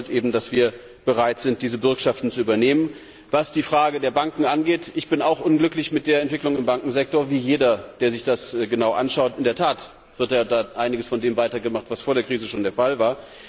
Das bedeutet eben, dass wir bereit sind, diese Bürgschaften zu übernehmen. Was die Frage der Banken angeht, bin auch ich unglücklich mit der Entwicklung auf dem Bankensektor wie jeder, der sich das genau anschaut. In der Tat wird ja dort einiges von dem weitergemacht, was vor der Krise schon der Fall war.